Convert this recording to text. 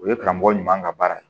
O ye karamɔgɔ ɲuman ka baara ye